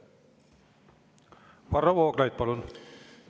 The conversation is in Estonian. Varro Vooglaid, palun!